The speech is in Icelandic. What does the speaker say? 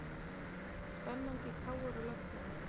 Spennandi í KR og lögfræðinni